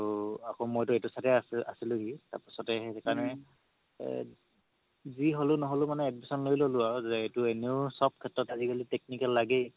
তৌ আকৌ মইতো এইটো side য়ে আছি~ আছিলো হি তাৰ পাছতে যি হেলেও নহলেও admission লই ল'লো আৰু যে এইটো এনেও চব সেত্ৰ আজিকালি technical লাগেই